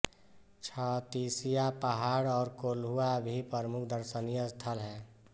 छत्तीसिया पहाड़ और कोल्हुआ भी प्रमुख दर्शनीय स्थल हैं